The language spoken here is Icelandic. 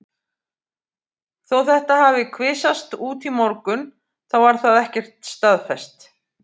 Þó þetta hafi kvisast út í morgun þá var það ekkert staðfest.